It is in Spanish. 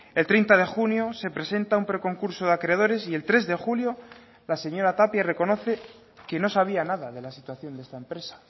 el treinta de junio se presenta un pre concurso de acreedores y el tres de julio la señora tapia reconoce que no sabía nada de la situación de esta empresa